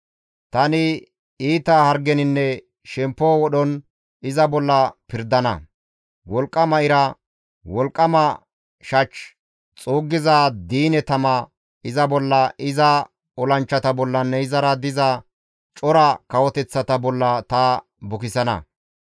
Tani iita hargeninne shemppo wodhon iza bolla pirdana; wolqqama ira, wolqqama shach, xuuggiza diine tama iza bolla, iza olanchchata bollanne izara diza cora kawoteththata bolla ta bukisana.